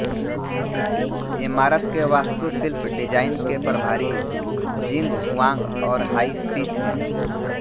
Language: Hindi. इमारत के वास्तुशिल्प डिजाइन के प्रभारी जिंग हुआंग और हाई शी थे